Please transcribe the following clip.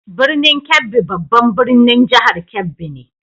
Birnin Kebbi babban birnin jihar Kebbi ne.